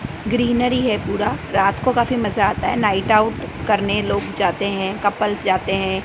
Greenery है पूरा रात को काफी मजा आता है नाइट आउट करने लोग जाते हैं कपल्स जाते हैं।